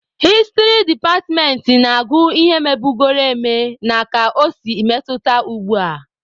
Hịstrị departmentị na-agụ ihe mebugoro eme na ka o si metụta ugbua.